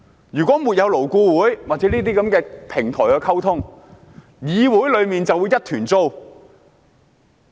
如果沒有勞工顧問委員會或這類溝通平台，議會便會一團糟。